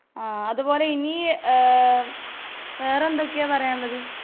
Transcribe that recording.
ആഹ് അതുപോലെ ഇനി ഏ വേറെന്തൊക്കെയാ പറയാന്ള്ളത്?